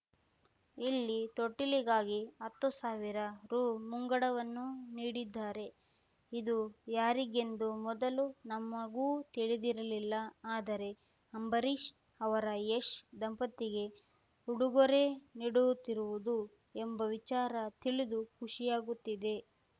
ಇಲ್ಲಿ ತೊಟ್ಟಿಲಿಗಾಗಿ ಹತ್ತು ಸಾವಿರ ರು ಮುಂಗಡವನ್ನೂ ನೀಡಿದ್ದಾರೆ ಇದು ಯಾರಿಗೆಂದು ಮೊದಲು ನಮಗೂ ತಿಳಿದಿರಲಿಲ್ಲ ಆದರೆ ಅಂಬರೀಷ್‌ ಅವರ ಯಶ್‌ ದಂಪತಿಗೆ ಉಡುಗೊರೆ ನೀಡುತ್ತಿರುವುದು ಎಂಬ ವಿಚಾರ ತಿಳಿದು ಖುಷಿಯಾಗುತ್ತಿದೆ